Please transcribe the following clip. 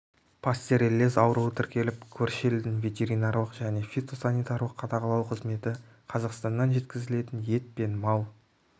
пастереллез ауруы тіркеліп көрші елдің ветеринарлық және фитосанитарлық қадағалау қызметі қазақстаннан жеткізілетін ет және мал